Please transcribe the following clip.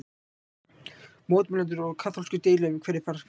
Mótmælendur og kaþólskir deila um hverjir fara hvert.